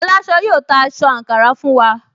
Aláṣọ yóò ta aṣọ àǹkárá fún wa